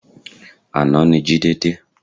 Àná ni Jide dé